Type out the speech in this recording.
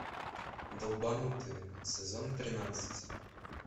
долбанутые сезон тринадцать